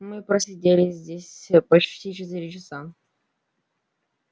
мы просидели здесь ээ почти четыре часа